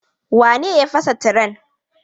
Wane ne ya fasa tiren?